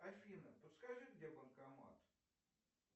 афина подскажи где банкомат